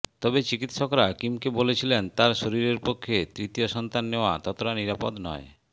তবে চিকিত্সকরা কিমকে বলেছিলেন তাঁর শরীরের পক্ষে তৃতীয় সন্তান নেওয়া ততটা নিরাপদ নয়